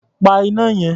Pa iná yẹn.